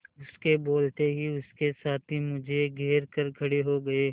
उसके बोलते ही उसके साथी मुझे घेर कर खड़े हो गए